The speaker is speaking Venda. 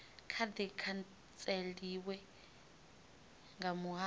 kha di khantseliwa nga muhasho